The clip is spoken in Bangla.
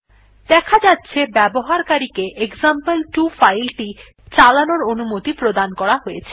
দেখা যাচ্ছে ব্যবহারকারী কে এক্সাম্পল2 ফাইল টি চালানোর অনুমতি প্রদান করা হয়েছে